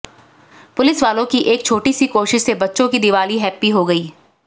police वालों की एक छोटी सी कोशिश से बच्चों की दिवाली हैप्पी हो गई